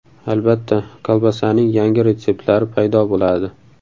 Albatta kolbasaning yangi retseptlari paydo bo‘ladi.